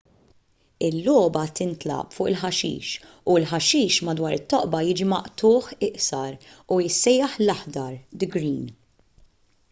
il-logħba tintlagħab fuq il-ħaxix u l-ħaxix madwar it-toqba jiġi maqtugħ iqsar u jissejjaħ l-aħdar the green”